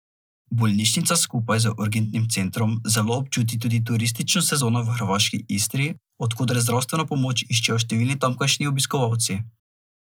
Bolnišnica skupaj z urgentnim centrom zelo občuti tudi turistično sezono v hrvaški Istri, od koder zdravstveno pomoč iščejo številni tamkajšnji obiskovalci.